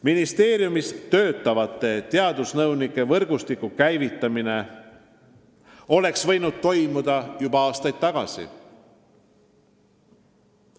Ministeeriumides töötavate teadusnõunike võrgustiku käivitamine oleks võinud toimuda juba aastaid tagasi.